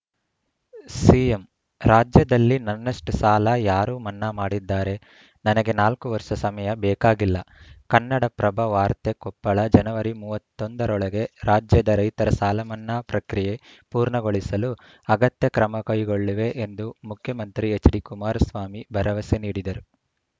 CM ರಾಜ್ಯದಲ್ಲಿ ನನ್ನಷ್ಟುಸಾಲ ಯಾರು ಮನ್ನಾ ಮಾಡಿದ್ದಾರೆ ನನಗೆ ನಾಲ್ಕು ವರ್ಷ ಸಮಯ ಬೇಕಾಗಿಲ್ಲ ಕನ್ನಡಪ್ರಭ ವಾರ್ತೆ ಕೊಪ್ಪಳ ಜನವರಿ ಮೂವತ್ತ್ ಒಂದ ರೊಳಗೆ ರಾಜ್ಯದ ರೈತರ ಸಾಲಮನ್ನಾ ಪ್ರಕ್ರಿಯೆ ಪೂರ್ಣಗೊಳಿಸಲು ಅಗತ್ಯ ಕ್ರಮಕೈಗೊಳ್ಳುವೆ ಎಂದು ಮುಖ್ಯಮಂತ್ರಿ ಎಚ್‌ಡಿ ಕುಮಾರಸ್ವಾಮಿ ಭರವಸೆ ನೀಡಿದರು